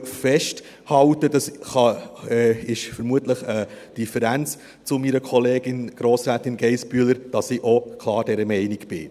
Ich halte fest – und das ist vermutlich eine Differenz zu meiner Kollegin Grossrätin Geissbühler –, dass ich auch klar dieser Meinung bin.